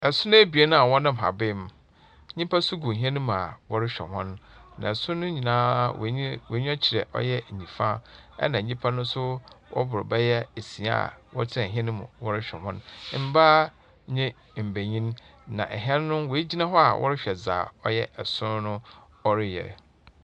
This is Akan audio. Son ebien a wɔnam haban mu, nnipa so gu hɛn mu a wɔrohwɛ hɔn, na son no nyina hɔn eny hɔn enyiwa kyerɛ ɔyɛ nyimfa, na nyimpa no so wɔbor bɛyɛ esia a wɔtsena hɛn mu wɔrohwɛ hɔn, mbaa nye mbanyin, na hɛn no oegyina hɔ a wɔrohwɛ dza ɔyɛ son no wɔreyɛ.